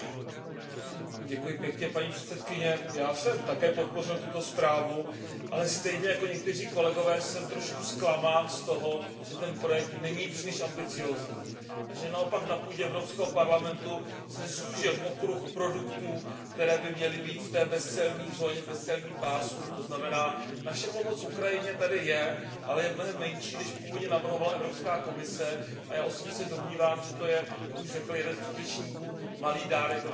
Paní předsedající, já jsem také podpořil tuto zprávu, ale stejně jako někteří kolegové jsem trošku zklamán z toho, že ten projekt není příliš ambiciózní a že naopak na půdě Evropského parlamentu se zúžil okruh produktů, které by měly být v té bezcelní zóně, v bezcelním pásmu, to znamená naše pomoc Ukrajině tady je, ale je mnohem menší, než původně navrhovala Evropská komise, a já osobně se domnívám, že to je, jak už řekl jeden z předřečníků, malý dárek ve velké krabici s velkou mašlí.